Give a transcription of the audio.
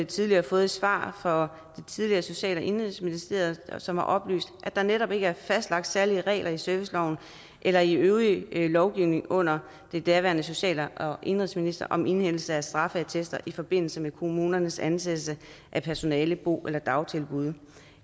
tidligere fået svar fra det tidligere social og indenrigsministerium som har oplyst at der netop ikke er fastlagt særlige regler i serviceloven eller i øvrig lovgivning under den daværende social og indenrigsminister om indhentelse af straffeattester i forbindelse med kommunernes ansættelse af personale til bo eller dagtilbud